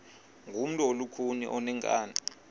ngumntu olukhuni oneenkani